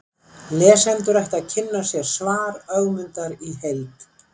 lesendur ættu að kynna sér svar ögmundar í heild